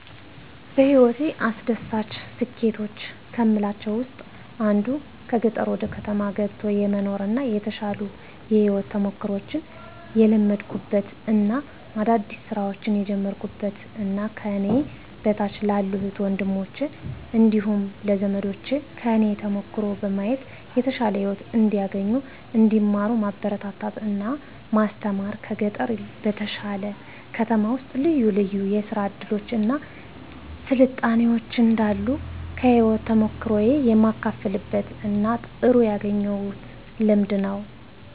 በህይወቴ አስደሳች ስኬቶች ከምላቸው ውስጥ አንዱ ከገጠር ወደ ከተማ ገብቶ የመኖር እና የተሻሉ የህይወት ተሞክሮችን የለመድኩበት እና አዳዲስ ስራዎችን የጀመርኩበት እና ከኔ በታች ላሉ እህት ወንድሞቸ እንዲሁም ለዘመዶቸ ከኔ ተሞክሮ በማየት የተሻለ ህይወት እንዲያገኙ እንዲማሩ ማበረታታት እና ማስተማር ከገጠር በተሻለ ከተማ ውስጥ ልዩ ልዩ የስራ እድሎች እና ስልጣኔዎች እንዳሉ ከህይወት ተሞክሮየ የማካፍልበት እና ጥሩ ያገኘሁት ልምድ ነው።